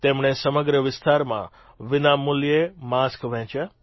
તેમણે સમગ્ર વિસ્તારમાં વિનામૂલ્યે માસ્ક વહેંચ્યા